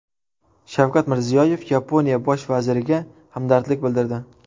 Shavkat Mirziyoyev Yaponiya bosh vaziriga hamdardlik bildirdi.